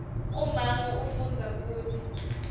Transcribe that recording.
ummango ufundza kutsi